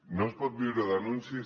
no es pot viure d’anuncis